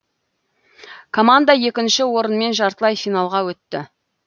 команда екінші орынмен жартылай финалға өтті